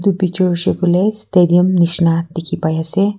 picture hoise koiley stadium nisna dikhi pai ase.